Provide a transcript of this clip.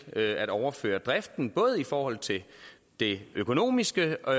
at overføre driften både i forhold til det økonomiske og